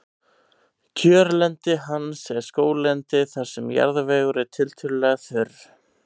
kjörlendi hans er skóglendi þar sem jarðvegur er tiltölulega þurr